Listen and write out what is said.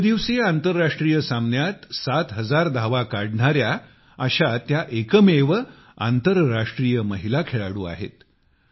एक दिवसीय आंतरराष्ट्रीय सामन्यांत सातहजार धावा काढणाऱ्या अशा त्या एकमेव आंतरराष्ट्रीय महिला खेळाडू आहेत